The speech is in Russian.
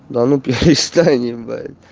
да ну перестань ебать